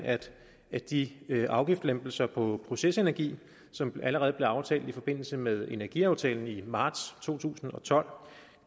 at de afgiftslempelser på procesenergi som allerede blev aftalt i forbindelse med energiaftalen i marts to tusind og tolv